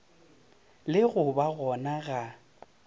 le go ba gona ga